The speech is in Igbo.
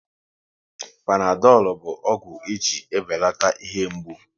Panadolu bụ ọgwụ e ji ebelata ihe mgbu